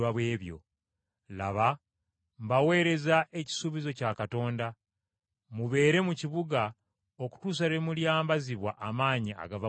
Laba mbaweereza ekisuubizo kya Kitange. Mubeere mu kibuga okutuusa lwe mulyambazibwa amaanyi agava mu ggulu.”